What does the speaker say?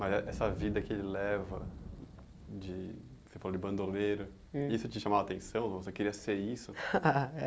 Mas eh essa vida que ele leva de, você falou de bandoleiro, hum e isso te chamava de atenção, você queria ser isso?